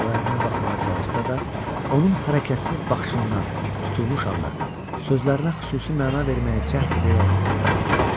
O ərinə baxmağa çalışsa da, onun hərəkətsiz baxışından, tutulmuş halda, sözlərinə xüsusi məna verməyə cəhd edərək davam etdi.